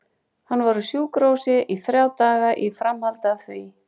Hann var á sjúkrahúsi í þrjá daga í framhaldi af því.